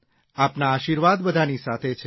આપના આશીર્વાદ બધાની સાથે છે